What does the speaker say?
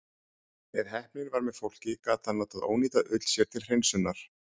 Ef heppnin var með fólki, gat það notað ónýta ull sér til hreinsunar.